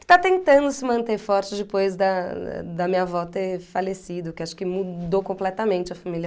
Está tentando se manter forte depois da da minha avó ter falecido, que acho que mudou completamente a família.